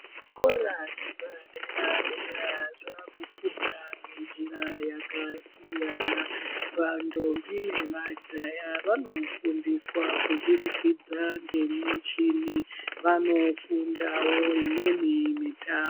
Zvikora zvepa dera dera zvaakufunda ngenjira yakasiyana, vantombi nemajaha vanofundiswa kudurikidzwa ngemishini vanofundawo imweni mita...